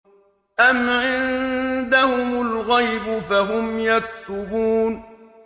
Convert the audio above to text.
أَمْ عِندَهُمُ الْغَيْبُ فَهُمْ يَكْتُبُونَ